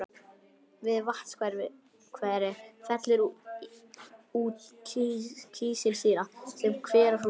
Við vatnshveri fellur út kísilsýra sem hverahrúður.